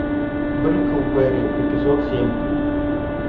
бриклберри эпизод семь